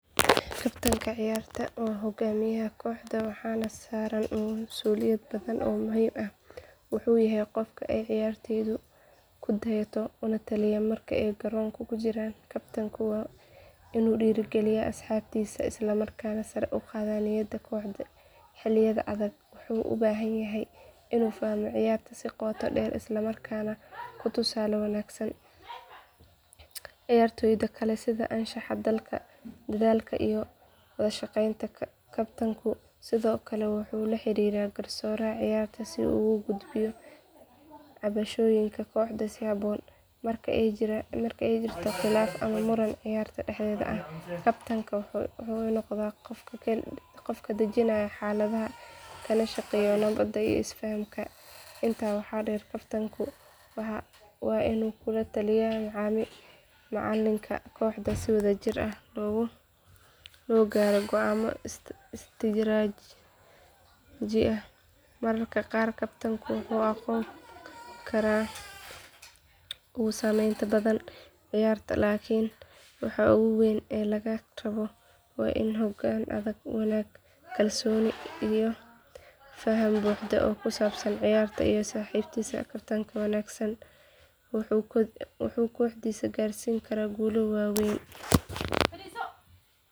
Kabtanka ciyarta wa hogaamiyaha koxda waxana saran masuuliyad badan o muhim aah Wuxu yahay kan ciyarteydu kudayata lataliya marka ay garoonka kujiran Kabtaanka wa inu dheri galiya asxabtisa isla markana sar u qada niyada koxda xilayada adaag wuxu ubahanyahay inu fahmo ciyarta si qoto dher islamrakana tusala wangsan. Ciyartoyda kale sida anshax dalka dadaalka iyo wala shaqeynta. Kaptanku sido kale wuxu laxerira garsoraha ciyarta sida ugu gudbiyo cabashooyinka koxda sida kuhabon marka ay jiran marka ay jirto khilaf ama muran ciyarta daxdeda ah. Kaptanka wuxu noqda qofka dajinayo xaladaha Kalana shaqeyo nabad iyo is faahamka inta waxa dher Kaptanka wa inu kulataliya macalinka koxda si wada jir aah o logaaro goama istaraji ah mararka qar Kaptanka wuxu aqon kara qofka ugu sameynta badan ciyarta lakin waxa ugu weyn e laga rabo wa in hogan adag wanag iyo kalsiooni iyo faham buuxda o kusabsan ciyarta iyo saxibadisa kaftanka wanagsan wuxu koxdisa garsin kara guulo wanagsan o waweyn.